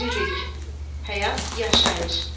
Dirilik, həyat, yaşayış.